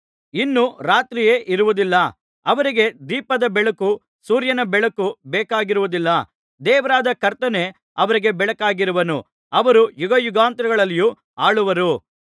ಇನ್ನು ರಾತ್ರಿಯೇ ಇರುವುದಿಲ್ಲ ಅವರಿಗೆ ದೀಪದ ಬೆಳಕೂ ಸೂರ್ಯನ ಬೆಳಕೂ ಬೇಕಾಗಿರುವುದಿಲ್ಲ ದೇವರಾದ ಕರ್ತನೇ ಅವರಿಗೆ ಬೆಳಕಾಗಿರುವನು ಅವರು ಯುಗಯುಗಾಂತರಗಳಲ್ಲಿಯೂ ಆಳುವರು